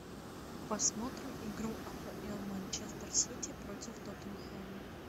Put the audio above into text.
посмотрим игру апл манчестер сити против тоттенхэма